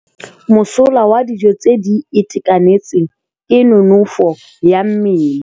Mosola wa dijô tse di itekanetseng ke nonôfô ya mmele.